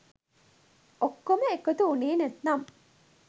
ඔක්කොම එකතු උනේ නැත්නම්